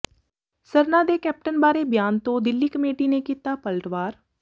ਸਰਨਾ ਦੇ ਕੈਪਟਨ ਬਾਰੇ ਬਿਆਨ ਤੋਂ ਦਿੱਲੀ ਕਮੇਟੀ ਨੇ ਕੀਤਾ ਪਲਟਵਾਰ